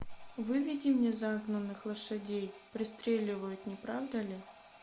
выведи мне загнанных лошадей пристреливают не правда ли